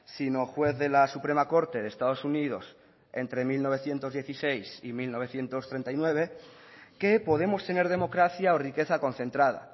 sino juez de la suprema corte de estados unidos entre mil novecientos dieciséis y mil novecientos treinta y nueve que podemos tener democracia o riqueza concentrada